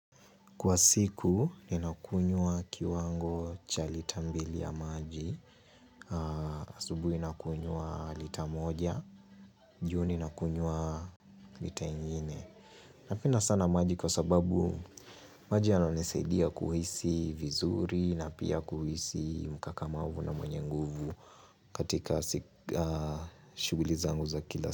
Kwa siku, ninakunyua kiwango cha lita mbili ya maji. Asubuhi nakunywa lita moja, jioni nakunywa lita ingine. Napina sana maji kwa sababu maji yananesaidia kuhisi vizuri na pia kuhisi mkakamavu na mwenye nguvu katika shughuli zangu za kila.